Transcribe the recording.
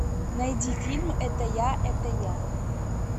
найди фильм это я это я